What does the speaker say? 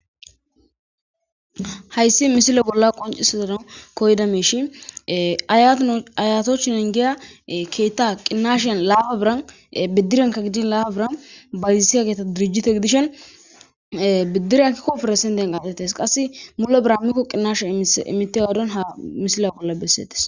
hayssi misila bolla qoncisazadan koyda meishi ayatochi engiya keetta qinashyan laaba biran biddiryanka gidin laaba biran bayisiya keeta dirijite gidishen biddirankikkoferesenden qatettes qasse mulo biran mikko qinnasha imitte wadon ha misila bolla bessetes